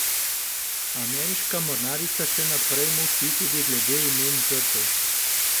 Ameriška mornarica še naprej molči tudi glede imen žrtev.